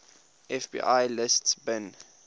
fbi lists bin